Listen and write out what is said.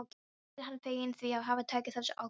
Mikið er hann feginn því að hafa tekið þessa ákvörðun.